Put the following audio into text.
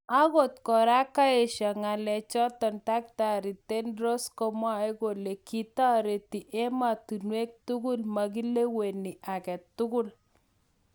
ogot kora kaesho ngalek chaton Dkt Tedros komwae kole :� kitareti ematunwek tukul magileweni agetugul�